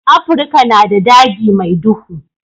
Afirika na da daji mai duhu.